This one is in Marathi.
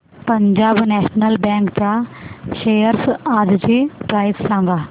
पंजाब नॅशनल बँक च्या शेअर्स आजची प्राइस सांगा